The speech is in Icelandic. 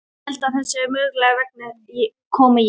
Ég held að það sé mögulegt, þess vegna kom ég.